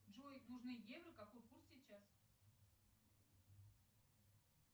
джой нужны евро какой курс сейчас